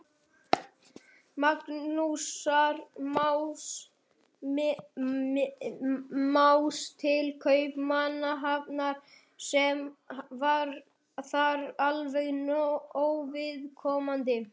Magnúsar Más til Kaupmannahafnar, sem var þér alveg óviðkomandi.